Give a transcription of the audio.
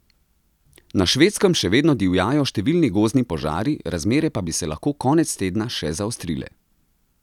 Na Švedskem še vedno divjajo številni gozdni požari, razmere pa bi se lahko konec tedna še zaostrile.